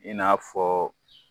I n'a fɔ